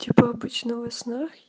типа обычно во снах